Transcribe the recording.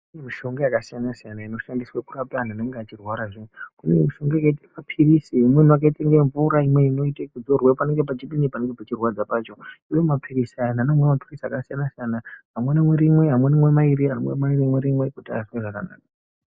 Kune mishonga yakasiyana-siyana inoshandiswe kurapa anhu anenge achirwara zviyani. Kune mishonga yakaite mapirizi, imweni yakaita kunga mvura, imweni inoite yekuzorwe panenge pachidini, panenge pachirwadza pacho, uye mapirizi aya, anhu anomwa mapirizi akasiyana-siyana, amwe anomwa rimwe, amwe anomwa mairi kuti azwe zvakanaka.